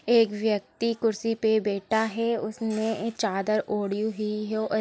एक व्यक्ति कुर्सी पे बैठा है उसने चादर ओढ़ी हुई हैऔर--